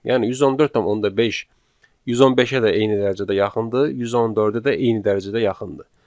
Yəni 114.5 115-ə də eyni dərəcədə yaxındır, 114-ə də eyni dərəcədə yaxındır.